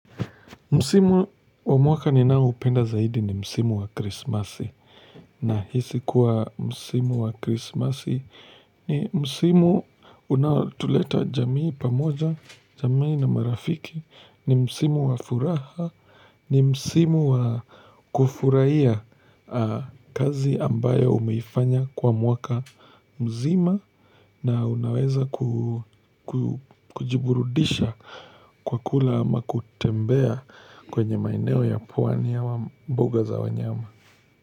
Msimu wa mwaka ninaoupenda zaidi ni Msimu wa Krismasi nahisi kuwa Msimu wa Krismasi ni Msimu unaotuleta jamii pamoja, jamii na marafiki, ni Msimu wa furaha, ni Msimu wa kufurahia kazi ambayo umeifanya kwa mwaka mzima na unaweza kujiburudisha Kwa kula ama kutembea kwenye maeneo ya pwani ama mbuga za wanyama.